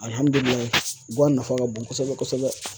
Alihamidulilayi guwan nafa ka bon kosɛbɛ kosɛbɛ